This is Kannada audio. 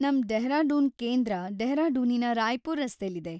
ನಮ್‌ ಡೆಹ್ರಾಡೂನ್ ಕೇಂದ್ರ ಡೆಹ್ರಾಡೂನಿನ ರಾಯ್‌ಪುರ್‌ ರಸ್ತೆಲಿದೆ.